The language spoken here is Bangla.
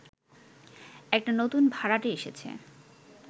একটা নতুন ভাড়াটে এসেছে